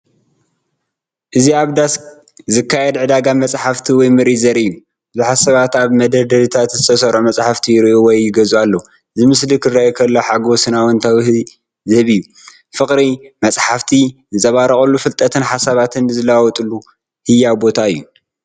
እዚ ኣብ ዳስ ዝካየድ ዕዳጋ መጽሓፍቲ ወይ ምርኢት ዘርኢ እዩ። ብዙሓት ሰባት ኣብ መደርደሪታት ዝተሰርዑ መጻሕፍቲ ይርእዩ ወይ ይገዝኡ ኣለዉ። እዚ ምስሊ ክርእዮ ከለኹ ሓጎስን ኣወንታዊነትን ዝህብ እዩ፤ ፍቕሪ መጽሓፍቲ ዝንጸባረቐሉ ፍልጠትን ሓሳባትን ዝለዋወጠሉ ህያው ቦታ እዩ።